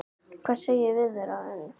Hvað segir Viðar um það?